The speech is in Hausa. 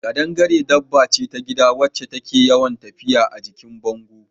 Ƙadangare dabba ce ta gida wacce take yawan tafiya a jikin bango